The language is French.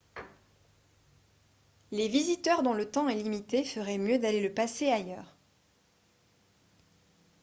les visiteurs dont le temps est limité feraient mieux d'aller le passer ailleurs